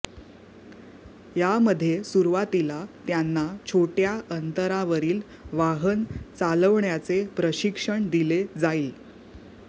यामध्ये सुरुवातीला त्यांना छोट्या अंतरावरील वाहन चालवण्याचे प्रशिक्षण दिले जाईल